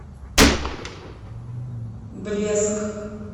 блеск